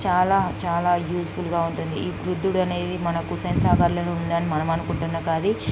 చాలా చాలా యూజ్ఫుల్ గా ఉంటుంది.ఈ బుద్ధుడు అనేది మనకు ఉసేన్ సాగర్ లో ఉందని మనం అనుకుంటునకాది --